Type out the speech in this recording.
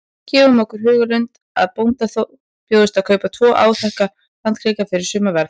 Gerum okkur í hugarlund að bónda bjóðist að kaupa tvo áþekka landskika fyrir sama verð.